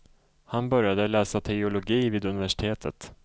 Han började läsa teologi vid universitetet.